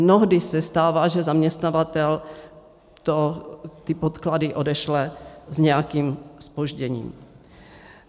Mnohdy se stává, že zaměstnavatel ty podklady odešle s nějakým zpožděním.